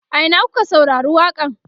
a Ina kuka saurari waƙa n?